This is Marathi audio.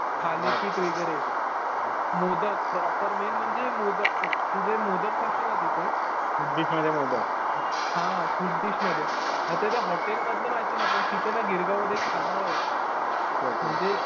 थालीपीठ वगैरे. मोदक मेन म्हणजे प्रॉपर. तु जे मोदक खाशील ना तिथे हा स्वीट डिश मध्ये. आता त्या हॉटेलमधील माहिती नाही. पण गिरगावमध्ये खानावळ आहे.